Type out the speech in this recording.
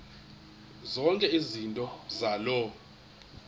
zonke izinto zaloo